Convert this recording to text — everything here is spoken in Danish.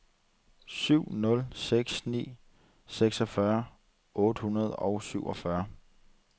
syv nul seks ni seksogfyrre otte hundrede og syvogfyrre